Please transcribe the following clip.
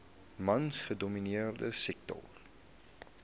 mans gedomineerde sektor